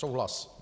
Souhlas.